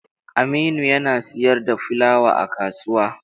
Aminu yana siyar da fulawa a kasuwa.